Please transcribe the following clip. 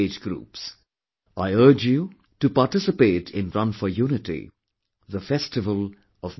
I urge you to participate in Run for Unity, the festival of mutual harmony